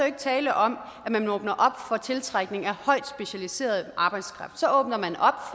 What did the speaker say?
ikke tale om at man åbner op for tiltrækning af højt specialiseret arbejdskraft så åbner man op